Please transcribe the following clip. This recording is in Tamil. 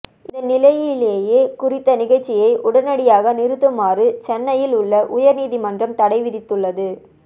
இந்த நிலையிலேயே குறித்த நிகழ்ச்சியை உடனடியாக நிறுத்துமாறு சென்னையில் உள்ள உயர் நீதிமன்றம் தடை விதித்துள்ளது